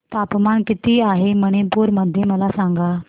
तापमान किती आहे मणिपुर मध्ये मला सांगा